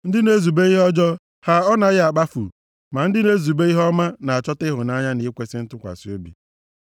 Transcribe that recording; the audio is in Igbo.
Ndị na-ezube ihe ọjọọ, ha ọ naghị akpafu? Ma ndị na-ezube ihe ọma na-achọta ịhụnanya na ikwesi ntụkwasị obi.